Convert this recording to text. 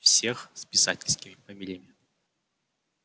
всех с писательскими фамилиями